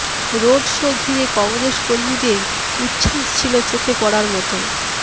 road show ঘিরে কংগ্রেস কর্মীদের উচ্ছ্বাস ছিল চোখে পড়ার মতো